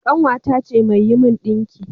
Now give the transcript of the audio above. Ƙanwata ce mai yi min ɗinki